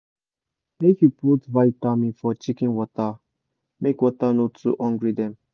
make you put vitamin for chicken water make water no too hungry dem